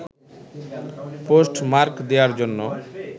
post mark দেওয়ার জন্য